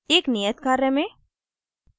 एक नियत कार्य में